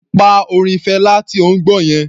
Pa orin Fela tí ò ń gbọ́ yẹn.